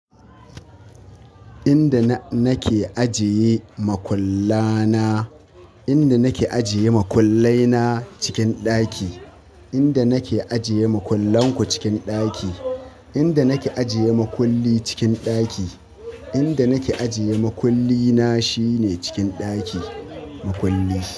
Inda nake ajiye makulla na. Inda nake ajiye makullai na cikin ɗaki. Inda nake ajiye makullan ku cikin ɗaki. Inda nake ajiye makulli cikin ɗaki. Inda nake ajiye makulli na shine cikin ɗaki. Makulli.